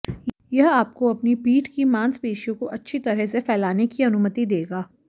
यह आपको अपनी पीठ की मांसपेशियों को अच्छी तरह से फैलाने की अनुमति देगा